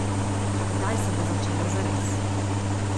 Tedaj se bo začelo zares.